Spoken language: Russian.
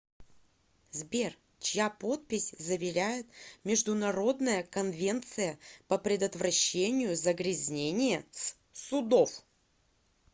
сбер чья подпись заверяет международная конвенция по предотвращению загрязнения с судов